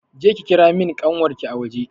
Je ki ki kira mun ƙanwarki a waje!